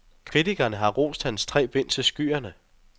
Kritikerne har rost hans tre bind til skyerne.